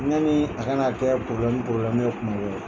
Yani a kana kɛ ye kuma